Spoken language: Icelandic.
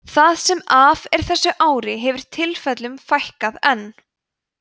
það sem af er þessu ári hefur tilfellunum fækkað enn